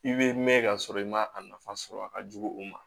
I bɛ mɛn ka sɔrɔ i ma a nafa sɔrɔ a ka jugu u ma